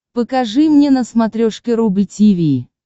покажи мне на смотрешке рубль ти ви